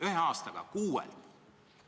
Ühe aastaga!